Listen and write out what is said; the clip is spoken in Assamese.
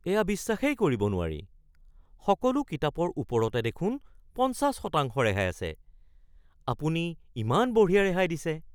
এয়া বিশ্বাসেই কৰিব নোৱাৰি! সকলো কিতাপৰ ওপৰতে দেখোন পঞ্চাশ শতাংশ ৰেহাই আছে। আপুনি ইমান বঢ়িয়া ৰেহাই দিছে।